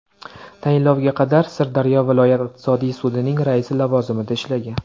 Tayinlovga qadar Sirdaryo viloyat iqtisodiy sudining raisi lavozimida ishlagan.